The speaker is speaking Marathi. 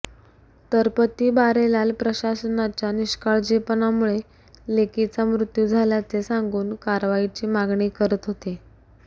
तर पती बारेलाल प्रशासनाच्या निष्काळजीपणामुळे लेकीचा मृत्यू झाल्याचे सांगून कारवाईची मागणी करीत हाेते